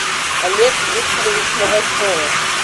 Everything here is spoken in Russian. олег викторович новоселов